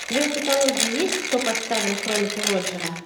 у тебя в каталоге есть кто подставил кролика роджера